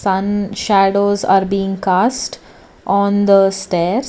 sun shadows are being cost on the stairs.